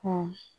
Ko